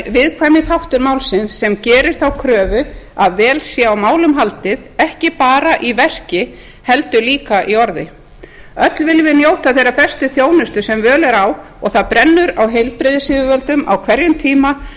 viðkvæmi þáttur málsins sem gerir þá kröfu að vel sé á málum haldið ekki bara í verki heldur líka í orði öll viljum við njóta þeirrar bestu þjónustu sem völ er á og það brennur á heilbrigðisyfirvöldum á hverjum tíma